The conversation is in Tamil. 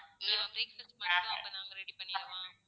breakfast மட்டும் அப்போ நாங்க ready பண்ணிடவா?